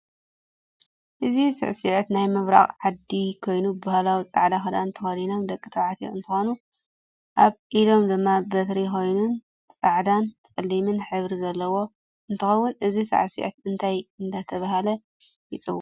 እዚ ስዕስት ናይ ምብራቃ ዓዲ ኮይኑ ብህላዊ ፃዕዳ ክዳን ተከዲኖም ደቂ ተባዕትዮ እንትኮኑ ኣብ ኢዶም ድማ በትሪ ኮይን ፃዕዳን ፣ፀሊምን ሕብሪ ዘሎዎ እንትከውን እዚ ስዕስዒት እንታይ እዳተበሃለ ይፅዋዕ?